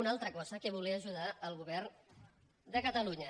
una altra cosa a què volia ajudar el govern de catalunya